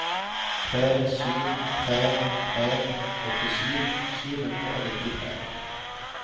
tre sju tre tre åttisju sju hundre og nittitre